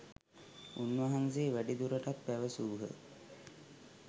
උන්වහන්සේ වැඩිදුරටත් පැවසූහ